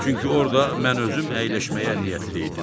Çünki orda mən özüm əyləşməyə niyyətli idim.